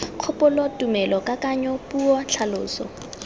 kgopolo tumelo kakanyo puo tlhaloso